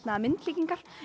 myndlíkingar